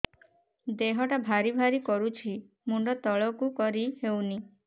ଦେହଟା ଭାରି ଭାରି କରୁଛି ମୁଣ୍ଡ ତଳକୁ କରି ହେଉନି